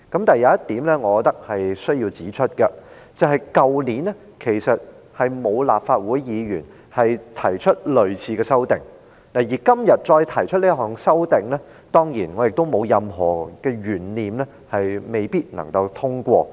但是，我要指出一點，去年並沒有立法會議員提出類似的修正案，而今天再提出這項修正案，我當然亦沒有任何懸念，修正案不會被通過。